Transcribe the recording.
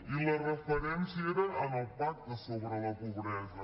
i la referència era en el pacte sobre la pobresa